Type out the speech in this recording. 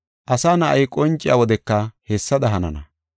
Asa Na7ay qonciya wodeka hessada hanana.